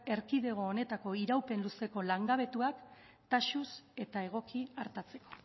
erkidego honetako iraupen luzeko langabetuak taxuz eta egoki artatzeko